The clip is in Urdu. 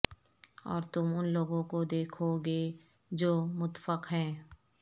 اور تم ان لوگوں کو دیکھو گے جو متفق ہیں